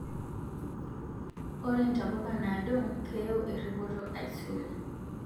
Ore ntapuka naado keyiu eripoto aisul